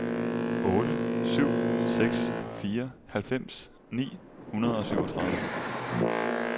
otte syv seks fire halvfems ni hundrede og syvogtredive